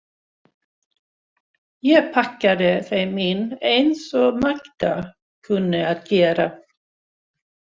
Ég pakkaði þeim inn eins og Magda kunni að gera.